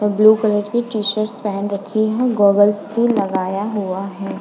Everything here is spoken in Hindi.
और ब्लू कलर की टी-शर्ट्स पहन रखी है। गॉगल्स भी लगाया हुआ है।